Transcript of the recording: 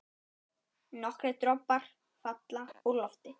Nokkrir dropar falla úr lofti.